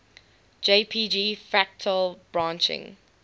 jpg fractal branching